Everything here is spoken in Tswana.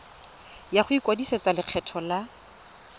ya go ikwadisetsa lekgetho la